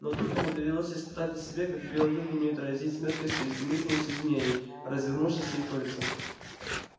но тут ему довелось испытать на себе как белый клык умеет разить с меткостью и стремительностью змеи развернувшей свои кольца